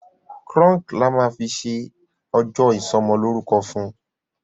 Crunk là má fí ṣe ojo isomo loruko fún.